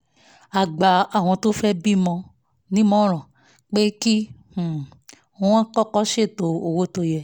a gbà àwọn tó fẹ́ bí ọmọ nímọ̀ràn pé kí um wọ́n kọ́kọ́ ṣètò owó tó yẹ